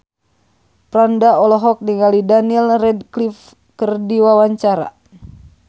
Franda olohok ningali Daniel Radcliffe keur diwawancara